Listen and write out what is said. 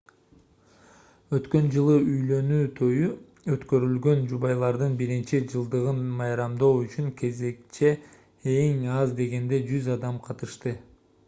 өткөн жылы үйлөнүү тою өткөрүлгөн жубайлардын биринчи жылдыгын майрамдоо үчүн кечеге эң аз дегенде 100 адам катышты